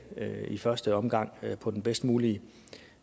i første omgang på den bedst mulige